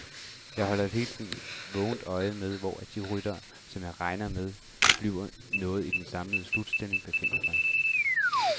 Jeg holder hele tiden vågent øje med, hvor de ryttere, som jeg regner med bliver noget i den samlede slutstilling, befinder sig.